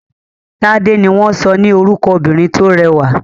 Tádé ni wọ́n sọ ní orúkọ obìnrin tó rẹwà.